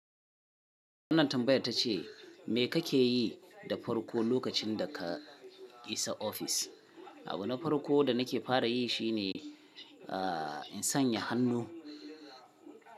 Wannan tambayan tace, me kake yi da farko lokacin da ka isa ofis? Abu na farko da nake fara yi shi ne, in sanya hannu.